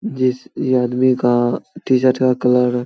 जिस ई आदमी का टी-शर्ट का कलर --